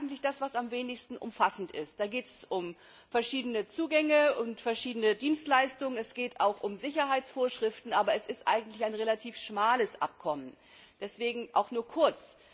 Das ist das am wenigsten umfassende. Da geht es um verschiedene Zugänge und verschiedene Dienstleistungen, es geht auch um Sicherheitsvorschriften, aber es ist eigentlich ein relativ schmales Abkommen, deswegen erwähne ich es auch nur kurz.